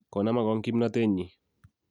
ko nama kong' kimnatennyi